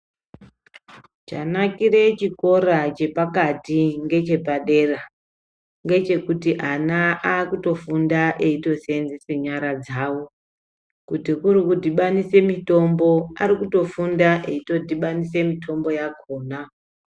Chanakire chikora chepakati ngechepadera ngechekuti ana aakutofunda eitoseenzese nyara dzawo. Kuti kuri kudhibanise mitombo ,aakutofunda eidhibanise mitombo yakhona.